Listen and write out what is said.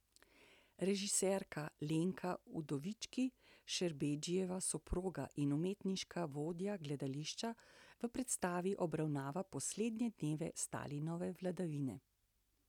Režiserka Lenka Udovički, Šerbedžijeva soproga in umetniška vodja gledališča, v predstavi obravnava poslednje dneve Stalinove vladavine.